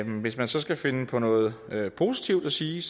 hvis man så skal finde på noget noget positivt at sige